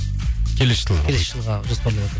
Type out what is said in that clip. келесі жылы келесі жылға жоспар